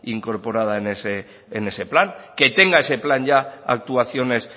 incorporada en ese plan que tenga ese plan ya actuaciones